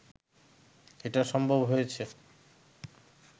এটা সম্ভব হয়েছে